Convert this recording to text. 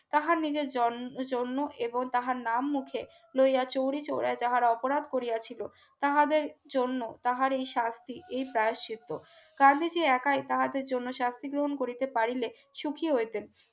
তাহার নিজের জন জন্ম এবং তাহার নাম মুখে লইয়া চৌরি চোরাই তারা অপরাধ করিয়াছিল তাহাদের জন্য তাহার এই শাস্তি এই প্রায়শ্চিত্ত খালি সে একাই তাহাদের জন্য শাস্তি গ্রহণ করিতে পারিলে সুখী হইতেন